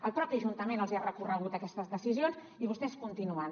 el propi ajuntament els ha recorregut aquestes decisions i vostès continuen